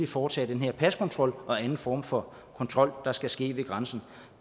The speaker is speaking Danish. foretage den her paskontrol og anden form for kontrol der skal ske ved grænsen